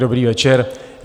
Dobrý večer.